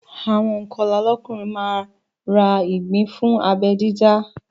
Àwọn ònkọlà lọ́kùnrin máa ra ìgbín fún abẹ́ dídá